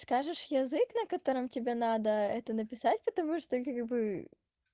скажешь язык на котором тебе надо это написать потому что как бы